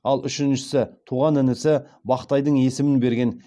ал үшіншісі туған інісі бақтайдың есімін берген